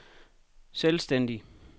selvstændig